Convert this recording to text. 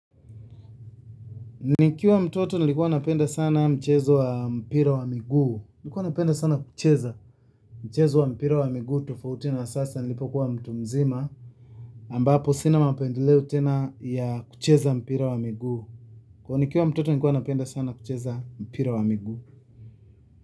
Nikiwa mtoto nilikuwa napenda sana mchezo wa mpira wa miguu. Nikuwa napenda sana kucheza mchezo wa mpira wa miguu tofauti na sasa nilipo kuwa mtu mzima ambapo sina mapendeleo tena ya kucheza mpira wa miguu, kwani nikiwa mtoto nikuwa napenda sana kucheza mpira wa miguu.